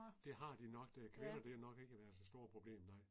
Det har de nok det kvinder det har nok ikke været så stort problem nej